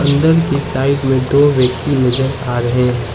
Under की side में दो व्यक्ति नजर आ रहे हैं।